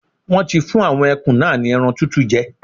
Wọ́n ti fún àwọn ẹkùn náà ni ẹran tútù jẹ.